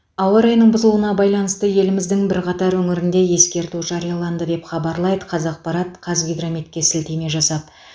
ауа райының бұзылуына байланысты еліміздің бірқатар өңірінде ескерту жарияланды деп хабарлайды қазақпарат қазгидрометке сілтеме жасап